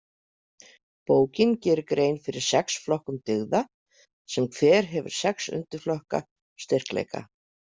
Bókin gerir grein fyrir sex flokkum dyggða sem hver hefur sex undirflokka styrkleika.